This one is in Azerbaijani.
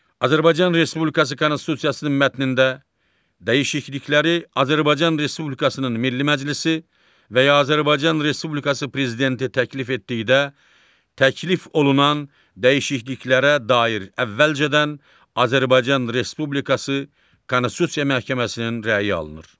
Azərbaycan Respublikası Konstitusiyasının mətnində dəyişiklikləri Azərbaycan Respublikasının Milli Məclisi və ya Azərbaycan Respublikası prezidenti təklif etdikdə təklif olunan dəyişikliklərə dair əvvəlcədən Azərbaycan Respublikası Konstitusiya Məhkəməsinin rəyi alınır.